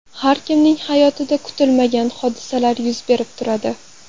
Har kimning hayotida kutilmagan hodisalar yuz berib turadi.